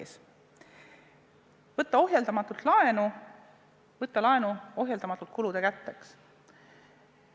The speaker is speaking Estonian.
Edasi, võtta ohjeldamatult laenu, võtta ohjeldamatult laenu kulude katteks.